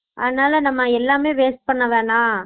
அதனால நம்ம எல்லாமே waste பண்ண வேண்ணா